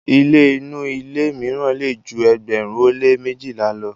ilé inu ilú míràn lè jù ẹgbẹrin o le mejila ló